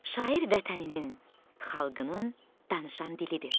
Şair Vətəninin, xalqının danışan dilidir.